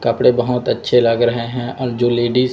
कपड़े बहोत अच्छे लग रहे हैं और जो लेडिस --